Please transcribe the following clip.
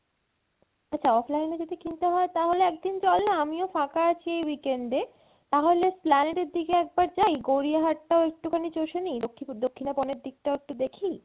আচ্ছা offline এ যদি কিনতে হয় তাহলে একদিন চল না আমিও ফাঁকা আছি এই weekend এ তাহলে Esplanade এর দিকে একবার যাই গড়িয়াহাট টাও একটুখানি চষে নি দক্ষি~ দক্ষিণাপনের দিকটাও একটু দেখি